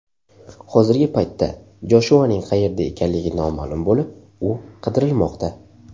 Hozirgi paytda Joshuaning qayerda ekanligi noma’lum bo‘lib, u qidirilmoqda.